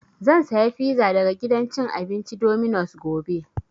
Zan saya fiza daga gidan cin abinci Dominos gobe